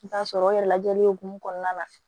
I bɛ t'a sɔrɔ o yɛrɛ lajɛli o hukumu kɔnɔna na